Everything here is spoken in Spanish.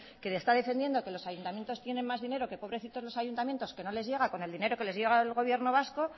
que está defendiendo que los ayuntamientos tienen más dinero que pobrecitos los ayuntamientos que no les llega con el dinero que les llega del gobierno vasco